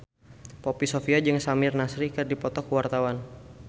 Poppy Sovia jeung Samir Nasri keur dipoto ku wartawan